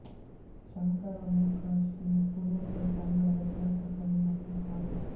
ಶಂಕರ ಮೊಕಾಶಿ ಪುಣೇಕರ್ ಕನ್ನಡದ ಖ್ಯಾತ ಕವಿ ಮತ್ತು ಸಾಹಿತಿ